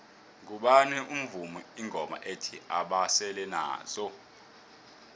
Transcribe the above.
ngubani ovuma ingoma ethi basele nazo